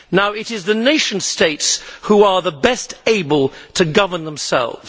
It is the nation states who are the best able to govern themselves.